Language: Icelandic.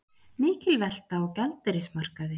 Mikil velta á gjaldeyrismarkaði